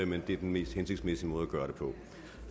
men det er den mest hensigtsmæssige måde at gøre det på